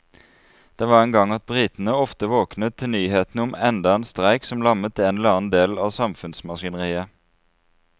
Det var en gang at britene ofte våknet til nyhetene om enda en streik som lammet en eller annen del av samfunnsmaskineriet.